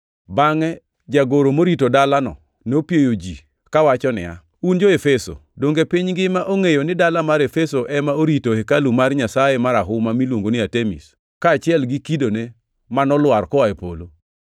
Bangʼe jagoro morito dalano nopieyo ji kawacho niya, “Un jo-Efeso, donge piny ngima ongʼeyo ni dala mar Efeso ema orito hekalu mar nyasaye marahuma miluongo ni Artemis, kaachiel gi kidone manolwar koa e polo?